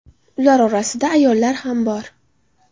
Ular orasida ayollar ham bor.